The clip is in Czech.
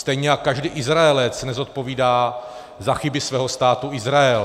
Stejně jako každý Izraelec nezodpovídá za chyby svého Státu Izrael.